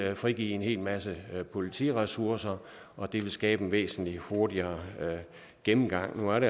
frigive en helt masse politiressourcer og det vil skabe en væsentlig hurtigere gennemgang man